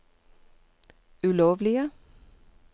ulovlige